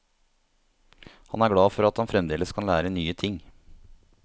Han er glad for at han fremdeles kan lære nye ting.